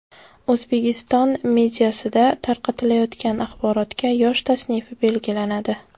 O‘zbekiston mediasida tarqatilayotgan axborotga yosh tasnifi belgilanadi.